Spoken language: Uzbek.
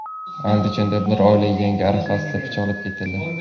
Andijonda bir oila Yangi yil arafasida pichoqlab ketildi.